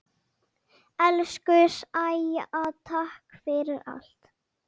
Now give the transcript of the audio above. Elsku Sæja, takk fyrir allt.